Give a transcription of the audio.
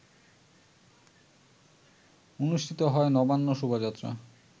অনুষ্ঠিত হয় নবান্ন শোভাযাত্রা